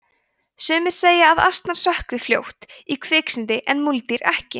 sumir segja að asnar sökkvi fljótt í kviksyndi en múldýr ekki